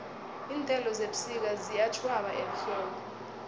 iinthelo zebusika ziyatjhwaba ehlobo